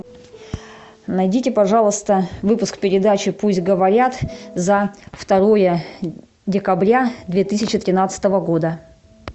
найдите пожалуйста выпуск передачи пусть говорят за второе декабря две тысячи тринадцатого года